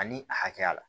Ani a hakɛya la